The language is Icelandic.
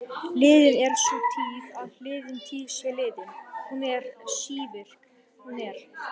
Liðin er sú tíð að liðin tíð sé liðin, hún er sívirk, hún er.